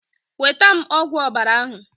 Nweta m ogwu ọbara ahụ!